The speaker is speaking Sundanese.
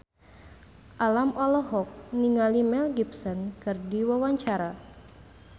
Alam olohok ningali Mel Gibson keur diwawancara